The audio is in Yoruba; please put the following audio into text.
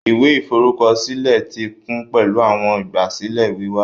Ìwé ìforúkọsílẹ ti kún pẹlu awọn igbasilẹ wíwá